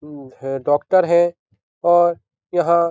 मम है डॉक्टर है और यहां --